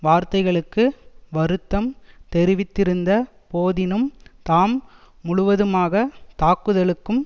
வார்த்தைகளுக்கு வருத்தம் தெரிவித்திருந்த போதினும் தாம் முழுவதுமாக தாக்குதலுக்கும்